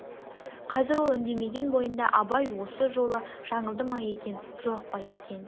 қазір ол үндемеген бойында абай осы жолы жаңылды ма екен жоқ па екен